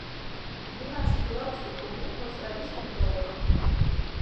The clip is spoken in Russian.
двенадцать белорусских рублей в австралийских долларах